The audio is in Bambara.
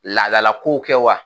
Laadalakow kɛ wa